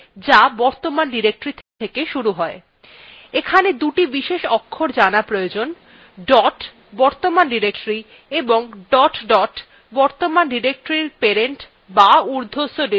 এখানে দুটি বিশেষ অক্ষর জানা প্রয়োজন dot বর্তমান ডিরেক্টরী এবং dot dot বর্তমান ডিরেক্টরীর parent বা উর্ধ্বস্থ ডিরেক্টরীকে বোঝায়